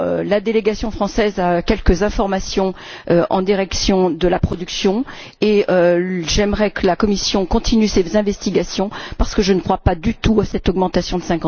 La délégation française a quelques informations concernant la production et j'aimerais que la Commission continue ses investigations parce que je ne crois pas du tout à cette augmentation de